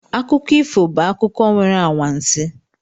Akụkọ ifo bụ akụkọ nwere anwansi